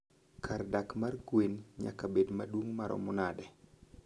kar dak mar gwen nyaka bed maduong' maromo nade?